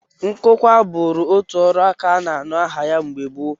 Nkụkwa bụụrụ otu ọrụaka a na-anụ aha ya mgbe gboo